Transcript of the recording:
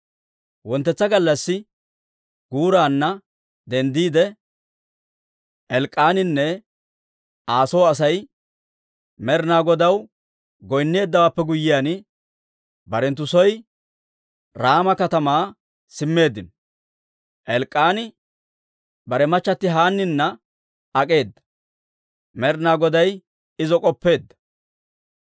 Wonttetsa gallassi guuraanna denddiide, Elk'k'aaninne Aa soo Asay Med'inaa Godaw goynneeddawaappe guyyiyaan, barenttu soo, Raama katamaa simmeeddino. Elk'k'aani bare machati Haannina ak'eeda; Med'inaa Goday izo k'oppeedda;